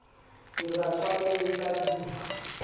seratswaneng sa d i ha